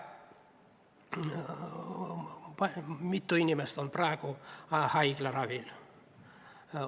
Mitu inimest on praegu haiglaravil.